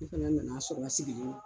Ne fɛnɛ nan'a sɔrɔ a sigilen d